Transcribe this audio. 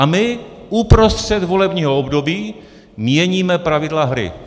A my uprostřed volebního období měníme pravidla hry.